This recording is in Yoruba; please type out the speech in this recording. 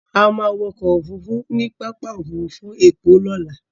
A máa wọ ọkọ òfurufú ní pápá òfurufú ẹ̀kọ́ lọ́la.